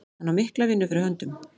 Hann á mikla vinnu fyrir höndum.